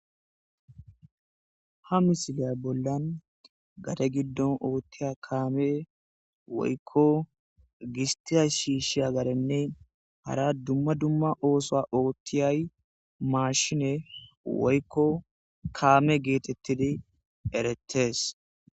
Ha misilay bollan eta gidon otheya kamey woyiko gisitiya shishiya hara duma duma osa otheya mashiney woyiko kame getetidi eretes